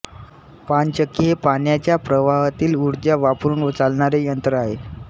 पाणचक्की हे पाण्याच्या प्रवाहातील ऊर्जा वापरुन चालणारे यंत्र आहे